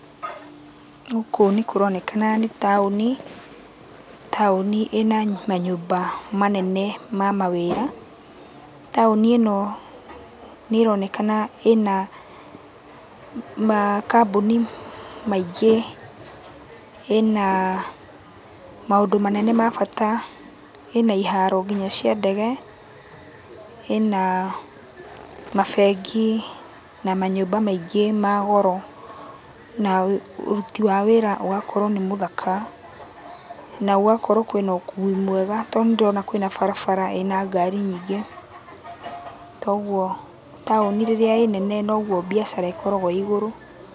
Gũkũ nĩkũronekana nĩ taũni. Taũni ĩna manyũmba manene ma mawĩra. Taũni ĩno nĩronekana ĩna makambũni maingĩ, ĩna maũndũ manene ma bata, ĩna iharo kinya cia ndege, ĩna mabengi na manyũmba maingĩ ma goro. Na ũruti wa wĩra ũgakorwo nĩ mũthaka, na gũgakorwo kwĩna ũkui mwega tondũ nĩndĩrona kwĩna barabara ĩna ngari nyingĩ. Toguo taũni rĩrĩa ĩ nene noguo mbiacara ĩkoragũo ĩ igũrũ.